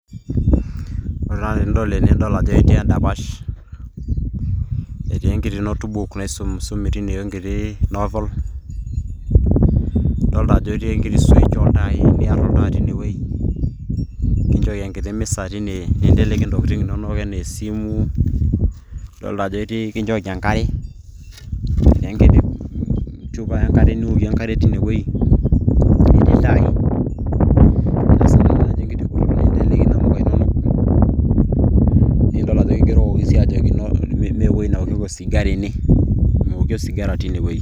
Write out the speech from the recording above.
Ore taa tenidol ene nidol ajo etii edapash. Etii enkiti notebook naisumisumi teine enkiti novel. Idolta ajo etii enkiti switch oltaai niar oltaa tinewei. Kinchooki enkiti misa tine ninteleki ntokiting' inonok enaa esimu. Adolta ajo kinchooki enkare. Etii enkiti chupa niokie enkare tinewei. Etii iltai. Ninteleki namuka inonok. Nidol ajo kigerokoki si ajoki "mewoi naokieki osigara ene". Meoki osigara tinewoi.